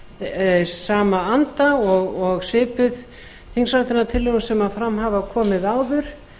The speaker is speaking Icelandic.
í sama anda og svipuð þingsályktunartillögum sem fram hafa komið áður